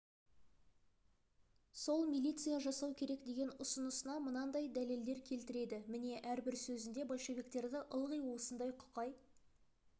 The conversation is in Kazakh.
сол милиция жасау керек деген ұсынысына мынандай дәлел келтіреді міне әрбір сөзінде большевиктерді ылғи осындай құқай